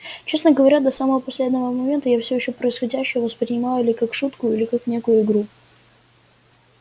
честно говоря до самого последнего момента я всё ещё происходящее воспринимала или как шутку или как некую игру